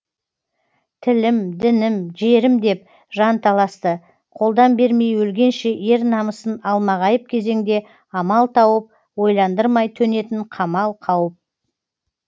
тілім дінім жерім деп жан таласты қолдан бермей өлгенше ер намысын алмағайып кезеңде амал тауып ойландырмай төнетін қамал қауіп